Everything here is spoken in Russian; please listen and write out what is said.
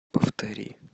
повтори